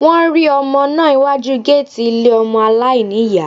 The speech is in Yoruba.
Wọ́n rí ọmọ náà iwájú géètì ilé ọmọ aláìní ìyá